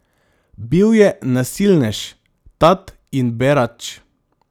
Bil je nasilnež, tat in berač.